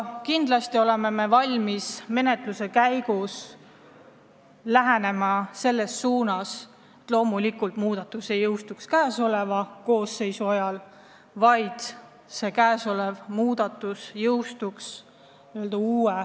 Kindlasti oleme valmis toetama seisukohta, et muudatus ei jõustuks käesoleva koosseisu ajal, vaid uue valitsuse ametisse astumise ajal.